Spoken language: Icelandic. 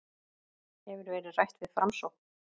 Hefur verið rætt við Framsókn